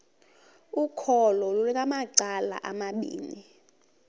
ukholo lunamacala amabini